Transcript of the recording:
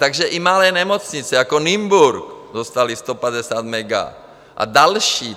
Takže i malé nemocnice jako Nymburk dostaly 150 mega, a další.